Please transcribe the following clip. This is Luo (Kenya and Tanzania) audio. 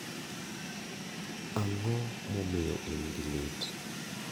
Ang'o momiyo in gi lit?